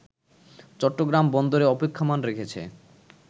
চট্টগ্রাম বন্দরে অপেক্ষমান রেখেছে